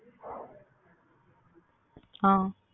அ